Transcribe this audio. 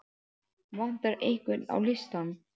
Vantar einhvern á listann?